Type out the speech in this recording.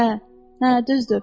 Hə, hə, düzdür.